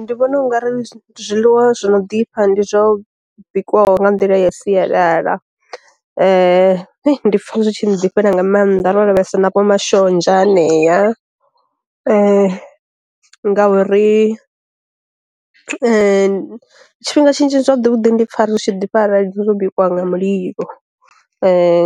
Ndi vhona u nga ri zwiḽiwa zwi no ḓifha ndi zwo bikwaho nga nḓila ya sialala, ndi pfa zwitshi ḓifha nga maanḓa ro lavhelesa navho mashonzha anea, ngauri tshifhinga tshinzhi zwavhuḓi vhuḓi ndi pfa zwitshi ḓifha arali zwo bikiwa nga mulilo,